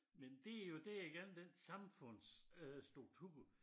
Men det jo det igen den samfunds øh struktur